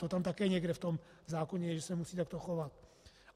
To tam také někde v tom zákoně je, že se musí takto chovat.